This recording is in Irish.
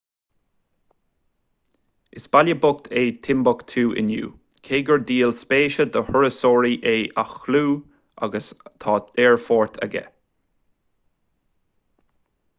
is baile bocht é timbeactú inniu cé gur díol spéise do thurasóirí é a chlú agus tá aerfort aige